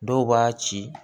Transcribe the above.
Dɔw b'a ci